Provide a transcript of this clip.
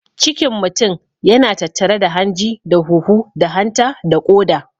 Cikin mutun yana tattare da hanji da huhu da hanta da ƙoda.